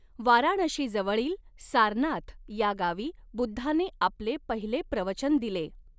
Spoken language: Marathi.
वाराणशीजवळील सारनाथ या गावी बुद्धाने आपले पहिले प्रवचन दिले.